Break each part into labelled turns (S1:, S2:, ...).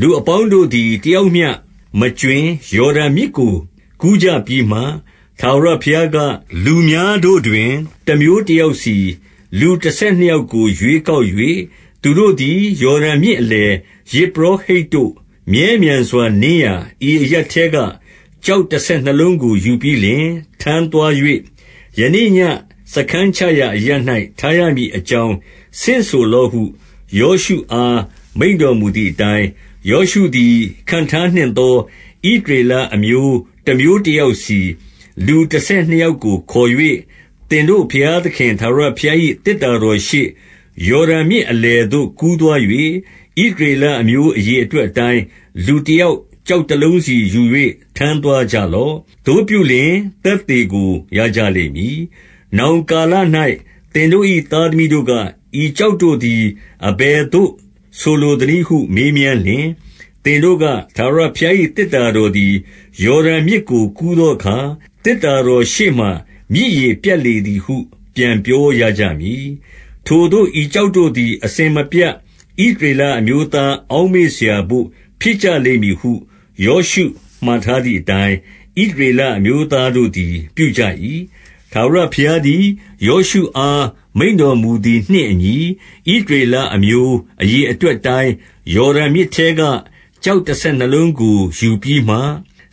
S1: လူအပေါင်းတို့သည် တယောက်မျှမကြွင်း ယော် ဒန်မြစ်ကို ကူးကြပြီးမှ၊ ထာဝရဘုရားက၊ 2 လူများတို့တွင် တမျိုးတယောက်စီ၊ လူတဆယ် နှစ်ယောက်ကို ရွေးကောက်၍၊ 3 သူတို့သည် ယော်ဒန်မြစ်အလယ်၊ ယဇ်ပုရော ဟိတ်တို့ မြဲမြံစွာနင်းရာ၊ ဤအရပ်ထဲက ကျောက်တဆယ် နှစ်လုံးကို ယူပြီးလျှင် ထမ်းသွား၍၊ ယနေ့ညဉ့်စားခန်းချ ရာအရပ်၌ ထားရမည်အကြောင်း ဆင့်ဆိုလော့ဟု ယောရှု အား မိန့်တော်မူသည်အတိုင်း၊ 4 ယောရှုသည် ခန့်ထားနှင့်သော ဣသရေလ အမျိုးတမျိုးတယောက်စီ၊ လူတဆယ်နှစ်ယောက်ကို ခေါ်၍၊ 5 သင်တို့ဘုရားသခင် ထာဝရဘုရား၏ သေတ္တာ တော်ရှေ့၊ ယော်ဒန်မြစ်အလယ်သို့ ကူးသွား၍၊ ဣသရေလ အမျိုးအရေအတွက်အတိုင်း၊ လူတယောက် ကျောက် တလုံးစီယူ၍ ထမ်းသွားကြလော့။ 6 သို့ပြုလျှင် သက်သေကို ရကြလိမ့်မည်။ နောင် ကာလ၌ သင်တို့၏ သားသမီးတို့က၊ ဤကျောက်တို့သည် အဘယ်သို့ဆိုလိုသနည်းဟု မေးမြန်းလျှင်၊ 7 သင်တို့က၊ ထာဝရဘုရား၏ သေတ္တာတော်သည် ယော်ဒန်မြစ်ကို ကူးသောအခါ၊ သေတ္တာတော်ရှေ့မှာ မြစ်ရေပြတ်လေသည်ဟု ပြန်ပြောရကြမည်။ ထိုသို့ ဤကျောက်တို့သည် အစဉ်မပြတ် ဣသရေလအမျိုးသား အောက်မေ့စရာဘို့ ဖြစ်ကြလိမ့်မည်ဟု ယောရှုမှာထား သည်အတိုင်း၊ 8 ဣသရေလအမျိုးသားတို့သည် ပြုကြ၏။ ထာဝရဘုရားသည် ယောရှုအား မိန့်တော်မူသည်နှင့် အညီ၊ ဣသရေလအမျိုး အရေအတွက်အတိုင်း၊ ယော်ဒန် မြစ်ထဲက ကျောက်တဆယ်နှစ်လုံးကို ယူပြီးမှ၊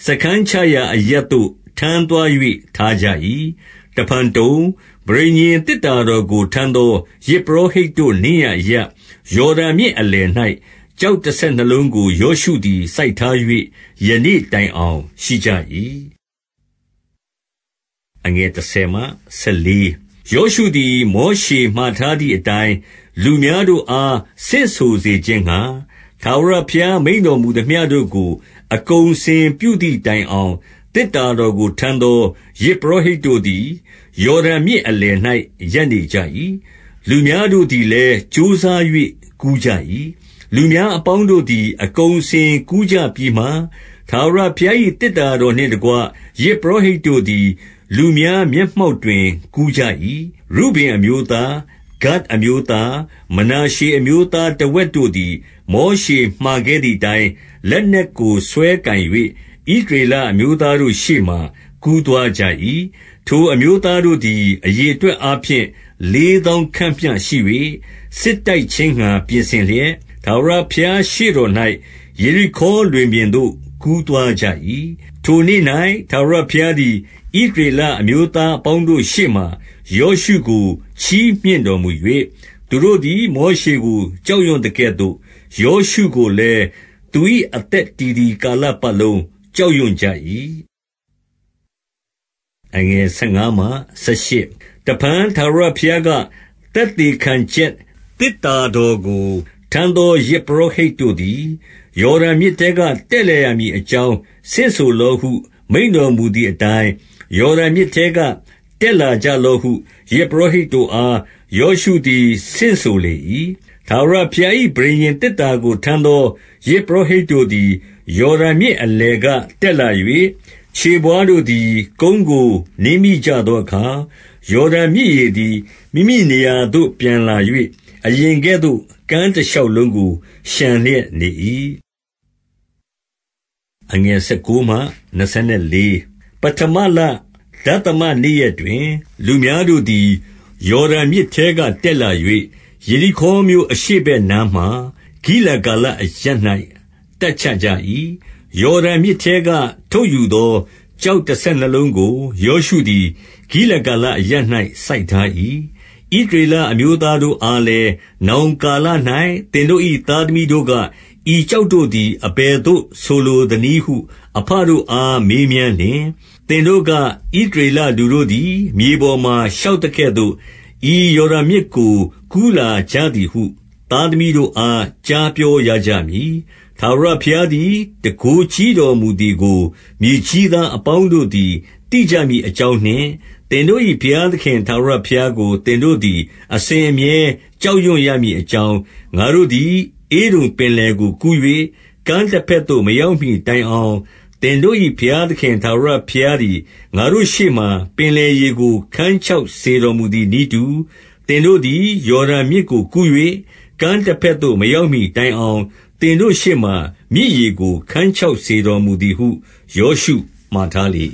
S1: စားခန်းချ ရာအရပ်သို့ ထမ်းသွား၍ ထားကြ၏။ 9 တဖန်တုံ၊ ပဋိညာဉ်သေတ္တာတော်ကို ထမ်းသော ယဇ်ပုရောဟိတ်တို့နင်းရာအရပ် ယော်ဒန်မြစ်အလယ်၌ ကျောက်တဆယ်နှစ်လုံးကို ယောရှုသည် စိုက်ထား၍ ယနေ့တိုင်အောင် ရှိကြ၏။ 10 ယောရှုသည် မောရှေမှာထားသည်အတိုင်း၊ လူများတို့အား ဆင့်ဆိုစေခြင်းငှါ ထာဝရဘုရား မိန့်တော် မူသမျှတို့ကို အကုန်အစင်ပြုသည်တိုင်အောင် သေတ္တာ တော်ကို ထမ်းသော ယဇ်ပုရောဟိတ်တို့သည်၊ ယော်ဒန် မြစ်အလယ်၌ ရပ်နေကြ၏။ လူများတို့သည်လည်း ကြိုးစား၍ ကူးကြ၏။ 11 လူများအပေါင်းတို့သည် အကုန်အစင်ကူးကြပြီး မှ၊ ထာဝရဘုရား၏ သေတ္တာတော်နှင့်တကွ ယဇ်ပုရော ဟိတ်တို့သည် လူများမျက်မှောက်တွင် ကူးကြ၏။ 12 ရုဗင်အမျိုးသား၊ ဂဒ်အမျိုးသား၊ မနာရှေ အမျိုး သားတဝက်တို့သည် မောရှေမှာခဲ့သည်အတိုင်း လက်နက် ကို စွဲကိုင်၍၊ ဣသရေလအမျိုးသားတို့ရှေ့မှာ ကူးသွား ကြ၏။ 13 ထိုအမျိုးသားတို့သည် အရေအတွက်အားဖြင့် လေးသောင်းခန့်မျှရှိ၍၊ စစ်တိုက်ခြင်းငှါ ပြင်ဆင်လျက် ထာဝရဘုရားရှေ့တော်၌ ယေရိခေါလွင်ပြင်သို့ ကူးသွား ကြ၏။ 14 ထိုနေ့၌ ထာဝရဘုရားသည် ဣသရေလအမျိုး သားအပေါင်းတို့ရှေ့မှာ ယောရှုကို ချီးမြှင့်တော်မူ၍၊ သူတို့ သည် မောရှေကို ကြောက်ရွံ့သကဲ့သို့ ယောရှုကိုလည်း သူ၏အသက်တည်သည် ကာလပတ်လုံးကြောက်ရွံ့ကြ၏။ 15 တဖန် ထာဝရဘုရားက၊ သက်သေခံချက် သေတ္တာတော်ကို ထမ်းသော ယဇ်ပုရောဟိတ်တို့သည်၊ 16 ယော်ဒန်မြစ်ထဲက တက်လာရမည် အကြောင်း၊ ဆင့်ဆိုလော့ဟု မိန့်တော်မူသည်အတိုင်း၊ 17 ယော်ဒန်မြစ်ထဲက တက်လာကြလော့ဟု ယဇ်ပု ရောဟိတ်တို့အား ယောရှုသည် ဆင့်ဆိုလေ၏။ 18 ထာဝရဘုရား၏ ပဋိညာဉ်သေတ္တာကို ထမ်း သော ယဇ်ပုရောဟိတ်တို့သည်၊ ယော်ဒန်မြစ်အလယ်ထဲ က တက်လာ၍၊ ခြေဘဝါးတို့သည် ကုန်းကို နင်းမိကြ သောအခါ၊ ယော်ဒန်မြစ်ရေသည် မိမိနေရာသို့ ပြန်လာ၍၊ အရင်ကဲ့သို့ ကမ်းတရှောက်လုံးကို လျှံလျက်နေ၏။ 19 ပဌမလ၊ ဒသမ နေ့ရက်တွင်၊ လူများတို့သည် ယော်ဒန်မြစ်ထဲကတက်လာ၍၊ ယေရိခေါမြို့အရှေ့ဘက် နားမှာ၊ ဂိလဂါလအရပ်၌ တပ်ချကြ၏။ 20 ယော်ဒန်မြစ်ထဲက ထုတ်ယူသော ကျောက်တ ဆယ်နှစ်လုံးကို ယောရှုသည် ဂိလဂါလအရပ်၌ စိုက်ထား ၏။ 21 ဣသရေလအမျိုးသားတို့အားလည်း၊ နောင်ကာ လ၌ သင်တို့၏သားသမီးတို့က၊ ဤကျောက်တို့သည် အဘယ်သို့ ဆိုလိုသနည်းဟု အဘတို့အား မေးမြန်းလျှင်၊ 22 သင်တို့က၊ ဣသရေလလူတို့သည် မြေပေါ်မှာ ရှောက်သကဲ့သို့ ဤယော်ဒန်မြစ်ကို ကူးလာကြသည်ဟု သားသမီးတို့အား ကြားပြောရကြမည်။ 23 ထာဝရဘုရားသည် တန်ခိုးကြီးတော်မူသည်ကို မြေကြီးသားအပေါင်းတို့သည် သိကြမည်အကြောင်းနှင့် သင်တို့၏ဘုရားသခင် ထာဝရဘုရားကို သင်တို့သည် အစဉ်အမြဲ ကြောက်ရွံ့ရမည်အကြောင်း၊ ငါတို့သည် ဧဒုံပင်လယ်ကို ကူး၍ ကမ်းတဘက်သို့ မရောက်မှီတိုင် အောင်၊ 24 သင်တို့၏ဘုရားသခင် ထာဝရဘုရားသည် ငါတို့ရှေ့မှာ ပင်လယ်ရေကို ခန်းခြောက်စေတော်မူသည် နည်းတူ၊ သင်တို့သည် ယော်ဒန်မြစ်ကိုကူး၍ ကမ်းတ ဘက်သို့ မရောက်မှီတိုင်အောင်၊ သင်တို့ရှေ့မှာ မြစ်ရေကို ခန်းခြောက်စေတော်မူသည်ဟု ယောရှုမှာထားလေ